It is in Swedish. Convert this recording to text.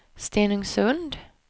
Stenungsund